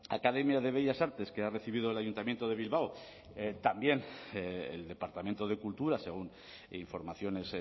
academia de bellas artes que ha recibido el ayuntamiento de bilbao también el departamento de cultura según informaciones